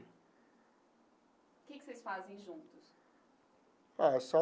O que que vocês fazem juntos? É só.